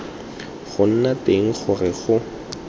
go nna teng gore go